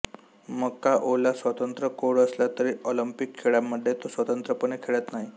मकाओला स्वतंत्र कोड असला तरी ऑलिंपिक खेळांमध्ये तो स्वतंत्रपणे खेळत नाही